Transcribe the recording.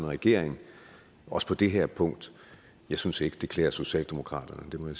regeringen også på det her punkt jeg synes ikke at det klæder socialdemokratiet det må